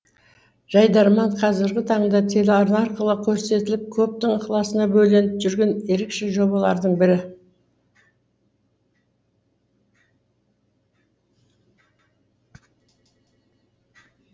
жайдарман қазіргі таңда телеарна арқылы көрсетіліп көптің ықыласына бөленіп жүрген ерекше жобалардың бірі